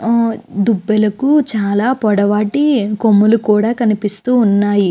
ఆ దుబ్బెలకు చాల పొడవాటి కొమ్ముల్లు కూడా కనిపిస్తూ ఉన్నాయి.